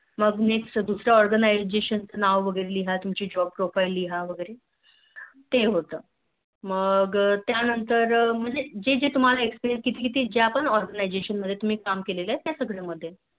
मगब Next दुस्र्या Orgnisation चे नाव वैगेरे लिहा तुमची Job profile लिहा वैगेरे ते होत मग त्यांत जे जे तुम्हाला Experience जिथे जिथे ज्या Orgniastion मध्ये तुम्ही काम केलं त्या सगळ्या मधे